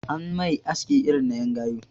An mai aski irin na en gayu